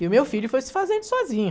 E o meu filho foi se fazendo sozinho.